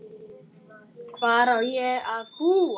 Hvar á ég að búa?